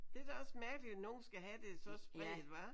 Det er er da også mærkeligt at nogen skal have det så svagt hva